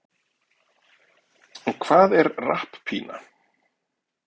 en hvað er rapppína